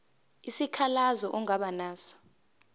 isikhalazo ongaba naso